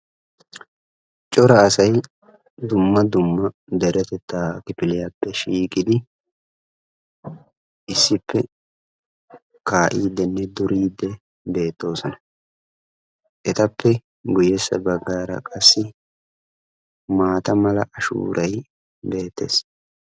cora asay dumma dumma deretetta kifiliyappe shiiqiddi issippe kaa'idinne duriidi de'oosona. etappe gu bagaara qassi maata mala ashuuray beetees.